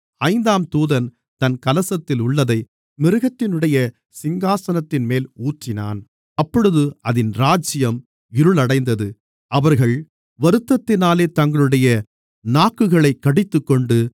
ஐந்தாம் தூதன் தன் கலசத்திலுள்ளதை மிருகத்தினுடைய சிங்காசனத்தின்மேல் ஊற்றினான் அப்பொழுது அதின் ராஜ்யம் இருளடைந்தது அவர்கள் வருத்தத்தினாலே தங்களுடைய நாக்குகளைக் கடித்துக்கொண்டு